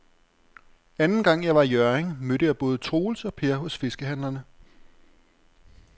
Anden gang jeg var i Hjørring, mødte jeg både Troels og Per hos fiskehandlerne.